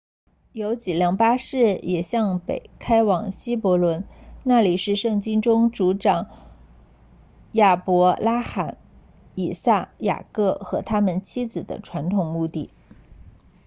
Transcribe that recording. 有几辆巴士也向北开往希伯伦那里是圣经中的族长亚伯拉罕以撒雅各和他们妻子的传统墓地